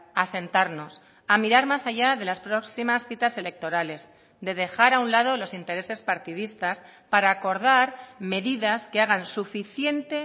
a sentarnos a mirar más allá de las próximas citas electorales de dejar a un lado los intereses partidistas para acordar medidas que hagan suficiente